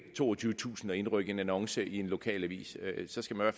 toogtyvetusind kroner at indrykke en annonce i en lokalavis så skal man